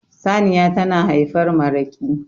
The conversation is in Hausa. saniya tana haifar maraki